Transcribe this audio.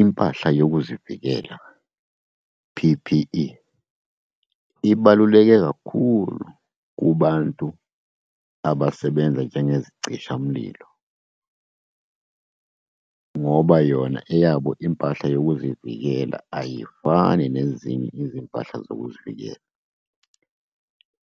Impahla yokuzivikela, P_P_E, ibaluleke kakhulu kubantu abasebenza njengezicishamlilo, ngoba yona eyabo impahla yokuzivikela ayifani nezinye izimpahla zokuzivikela.